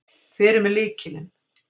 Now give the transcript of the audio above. Hver er með lykilinn?